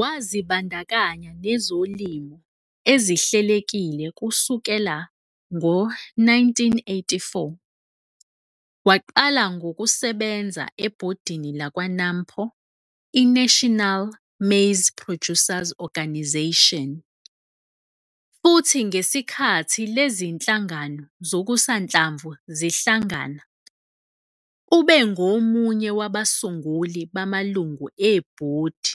Wazibandakanya nezolimo ezihlelekile kusukela ngo-1984, waqala ngosebenza ebhodini lakwa-NAMPO, iNational Maize Producers Organisation futhi ngesikhathi le zinhlangano zokusanhlamvu zihlangana, ubengomunye wabasunguli bamalungu ebhodi